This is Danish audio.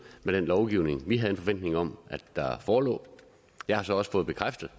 med den lovgivning vi havde en forventning om at der forelå jeg har så også fået bekræftet